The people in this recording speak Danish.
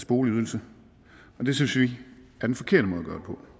boligydelse og det synes vi er den forkerte måde at gøre